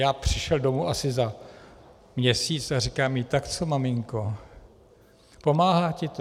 Já přišel domů asi za měsíc a říkám jí: Tak co, maminko, pomáhá ti to?